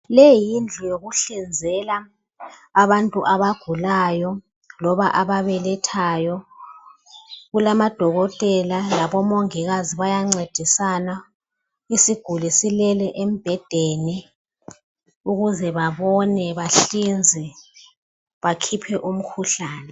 Le yindlu yokunhlinzela abantu abagulayo loba ababelethayo ,kulabomongikazi labodokotela bayancedisana isiguli silele embhedeni ukuze babone bahlinze ukuze bakhiphe umkhuhlane.